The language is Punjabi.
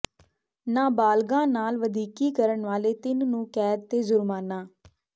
ਨਾਬਾਲਗਾ ਨਾਲ ਵਧੀਕੀ ਕਰਨ ਵਾਲੇ ਤਿੰਨ ਨੂੰ ਕੈਦ ਤੇ ਜੁਰਮਾਨਾ